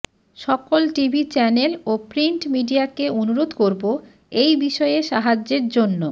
সকল TV channel ও print মিডিয়াকে অনুরোধ করবো এই বিষয়ে সাহায্যের জন্য